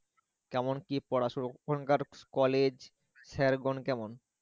কেমন কি পড়াশুনো? এখনকার college sir গন কেমন?